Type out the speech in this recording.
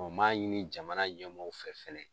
n m'a ɲini jamana ɲɛmɔgɔw fɛ fɛnɛ